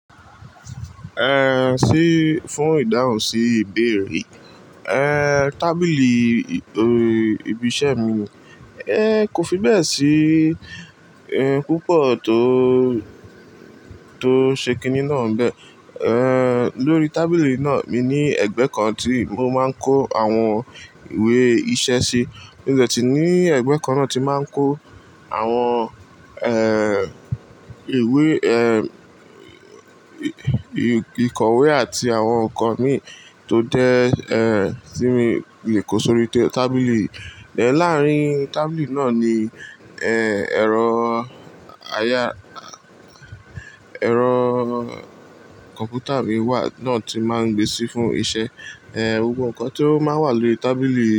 Eh, sí fún ìdáhùn sí ìbéèrè. Eh, tábìlì ibi iṣẹ́ mi, eh, kò fi bẹ́ẹ̀ sí, eh, púpọ̀ tó, tó ṣe kinní náà bẹ́ẹ̀. Eh, lórí tábìlì náà mi ní ẹgbẹ́ kan tí mo máa ń kó àwọn ìwé iṣẹ́ sí. Mo de sí ní ẹgbẹ́ kan náà ti máa ń kó àwọn, eh, ìwé ehm, eh, ìkọ̀wé àti àwọn nǹkan mi tó dẹ, eh, tí mi lè kó sórí tábìlì. Eh láàárín tábìlì náà ni, eh, ẹ̀rọ aya-- ẹ̀rọ kọ̀ǹpútà mi wà, náà ti máa ń gbé sí fún iṣẹ́. Eh, gbogbo nǹkan tó máa ń wà lórí tábìlì.